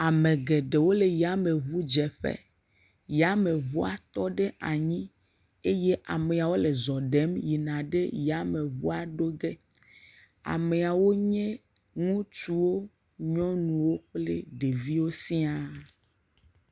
Ame geɖewo le yameŋudzeƒe. Yameŋua tɔ ɖe anyi eye amewo le zɔ ɖem yina ɖe yameŋua ɖo ge. Ameawo nye ŋutsuwo, nyɔnuwo kple ɖeviwo sia.